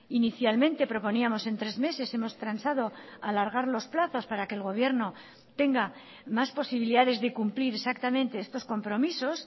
inicialmente proponíamos en tres meses hemos transado alargar los plazos para que el gobierno tenga más posibilidades de cumplir exactamente estos compromisos